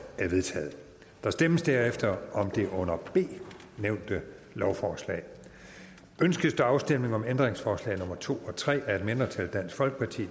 er vedtaget der stemmes derefter om det under b nævnte lovforslag ønskes der afstemning om ændringsforslag nummer to og tre af et mindretal